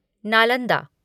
Nalanda